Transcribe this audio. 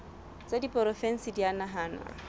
tsa diporofensi di a nahanwa